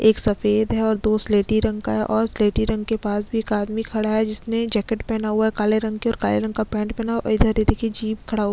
एक सफ़ेद है और दो स्लेटी रंग का है और स्लेटी रंग के पास भी एक आदमी खड़ा है जिसने जैकेट पहना हुआ है काले रंग का और काले रंग का पैन्ट पहना है ओ इधर ये देखिये जीप खड़ --